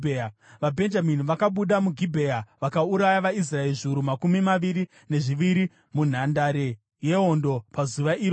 VaBhenjamini vakabuda muGibhea vakauraya vaIsraeri zviuru makumi maviri nezviviri munhandare yehondo pazuva iroro.